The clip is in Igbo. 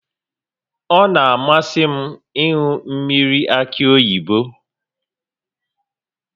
Ọ na-amasị m ịṅụ mmiri akị oyibo